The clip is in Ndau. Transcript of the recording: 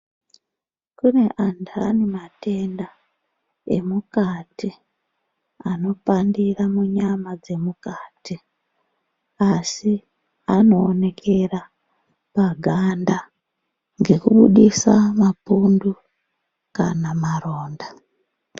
Kune anthani matenda anopandira munyama dzemukati asi anoonekera paganda nekubudisa mapundu kana maronda.